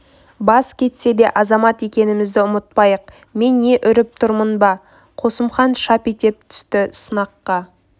бас кетсе де азамат екенімізді ұмытпайық мен не үріп тұрмын ба қосымхан шап ете түсті сыныққа